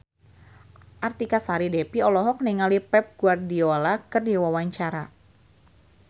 Artika Sari Devi olohok ningali Pep Guardiola keur diwawancara